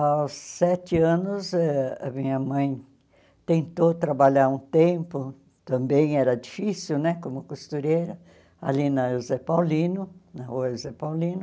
Aos sete anos, ah a minha mãe tentou trabalhar um tempo, também era difícil né, como costureira, ali na José Paulino, na rua José Paulino.